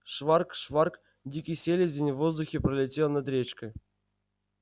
шварк-шварк дикий селезень в воздухе пролетел над речкой